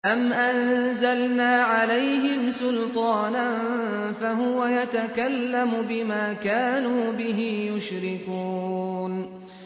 أَمْ أَنزَلْنَا عَلَيْهِمْ سُلْطَانًا فَهُوَ يَتَكَلَّمُ بِمَا كَانُوا بِهِ يُشْرِكُونَ